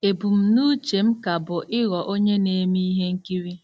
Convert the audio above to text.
Ebumnuche m ka bụ ịghọ onye na-eme ihe nkiri.